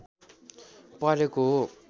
परेको हो